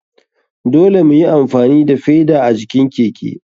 Dole muyi amfani da feda a jikin keke.